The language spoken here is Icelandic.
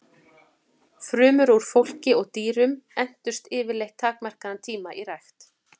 Frumur úr fólki og dýrum entust yfirleitt takmarkaðan tíma í rækt.